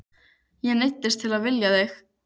Ég neyddist til að vilja þig.